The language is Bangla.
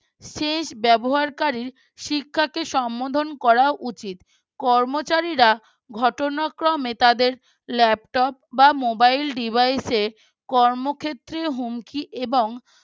শেষ ব্যবহারকারী শিক্ষাকে সম্মোধন করা উচিত কর্মচারীরা ঘটনাক্রমে তাদের Laptop বা Mobile Device এ কর্মক্ষেত্রের হুমকি এবং